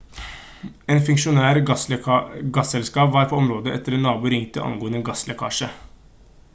en funksjonær fra gasselskapet var på området etter at en nabo ringte angående en gasslekkasje